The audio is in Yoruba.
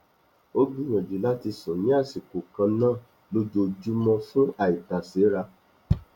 ó gbìyànjú láti sùn ní àṣikò kan náà lójoójúmọ fún àìtàséra